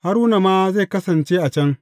Haruna ma zai kasance a can.